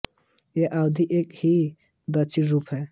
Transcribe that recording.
यह अवधी का ही एक दक्षिणी रूप है